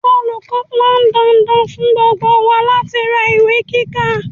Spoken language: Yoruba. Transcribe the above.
Olùkọ́ pọn dandan fún gbogbo wa láti ra ìwé kíkà.